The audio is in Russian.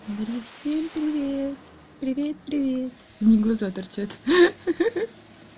говори всем привет привет привет одни глаза торчат ха-ха